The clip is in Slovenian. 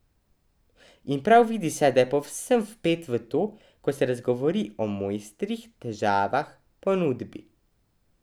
In prav vidi se, da je povsem vpet v to, ko se razgovori o mojstrih, težavah, ponudbi ...